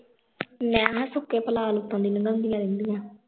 ਮੈਂ ਕਿਹਾ ਸੁੱਕੇ ਉਤੋਂ ਦੀ ਲੰਘਾਂਓਦੀਆਂ ਰਹਿੰਦੀਆਂ